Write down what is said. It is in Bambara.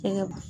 Fɛngɛ